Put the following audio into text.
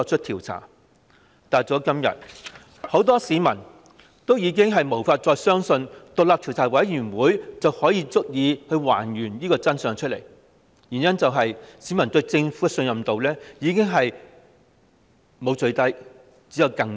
但到了今天，很多市民已無法再相信成立獨立調查委員會便足以還原真相，因為市民對政府的信任程度沒有最低，只有更低。